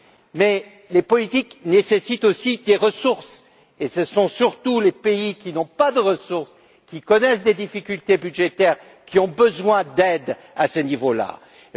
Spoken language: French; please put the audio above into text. Mais les politiques nécessitent aussi des ressources, et ce sont surtout les pays qui n'ont pas de ressources, qui connaissent des difficultés budgétaires, qui ont besoin d'aide dans ce domaine.